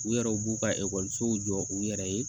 U yɛrɛw b'u ka ekɔlisow jɔ u yɛrɛ ye